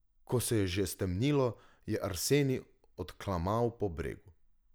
Ko se je že stemnilo, je Arsenij odklamal po bregu.